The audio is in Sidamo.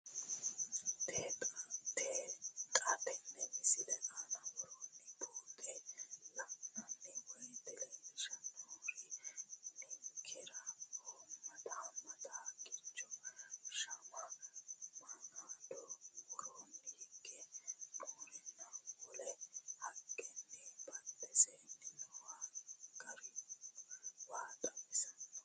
Xa tenne missile aana worroonniri buunxe la'nanni woyiite leellishshanni noori ninkera hoommete haqqicho shama manaado, woroonni higge nooreno wole haqqenna badhensaanni nooha garino waa xawissanno.